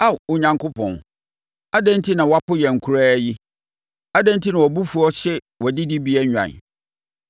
Ao Onyankopɔn, adɛn enti na woapo yɛn koraa yi? Adɛn enti na wʼabofuo hye wʼadidibea nnwan?